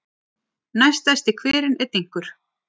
Næststærsti hverinn er Dynkur.